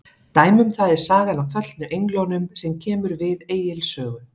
Dæmi um það er sagan af föllnu englunum sem kemur við Egils sögu.